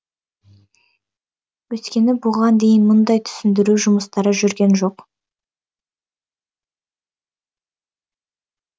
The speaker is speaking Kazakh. өйткені бұған дейін мұндай түсіндіру жұмыстары жүрген жоқ